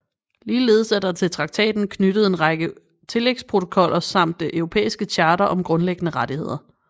Ligeledes er der til traktaten knyttet en række tillægsprotokoller samt det europæiske charter om grundlæggende rettigheder